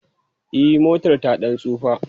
E, motar ta ɗan tsufa.